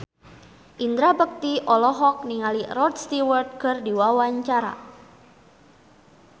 Indra Bekti olohok ningali Rod Stewart keur diwawancara